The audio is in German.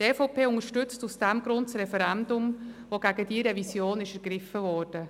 Die EVP unterstützt aus diesem Grund das Referendum, das gegen diese Revision ergriffen wurde.